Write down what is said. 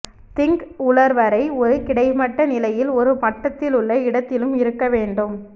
thing உலர் வரை ஒரு கிடைமட்ட நிலையில் ஒரு மட்டத்திலுள்ள இடத்திலும் இருக்க வேண்டும்